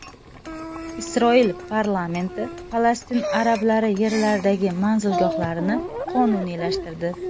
Isroil parlamenti Falastin arablari yerlaridagi manzilgohlarni qonuniylashtirdi.